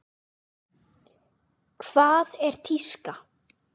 Hvað er tíska?